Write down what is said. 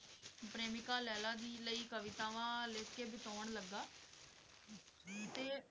ਪ੍ਰੇਮਿਕਾ ਲੈਲਾ ਦੇ ਲਈ ਕਵਿਤਾਵਾਂ ਲਿਖਕੇ ਦਿਖਾਉਣ ਲੱਗਾ ਤੇ